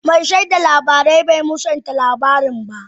Mai shaida lamarin bai musanta lamarin ba.